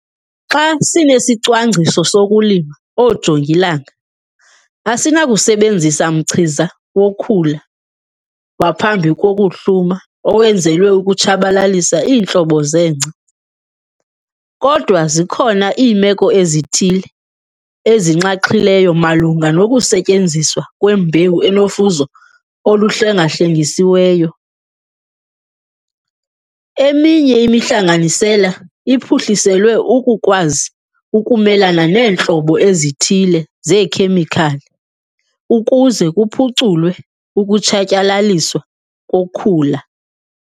Xa sinesicwangciso sokulima oojongilanga asinakusebenzisa mchiza wokhula waphambi kokuhluma owenzelwe ukutshabalalisa iintlobo zengca. Kodwa zikhona iimeko ezithile ezinxaxhileyo malunga nokusetyenziswa kwembewu enofuzo oluhlenga-hlengisiweyo. Eminye imihlanganisela iphuhliselwe ukukwazi ukumelana neentlobo ezithile zeekhemikhali ukuze kuphuculwe ukutshatyalaliswa kokhula.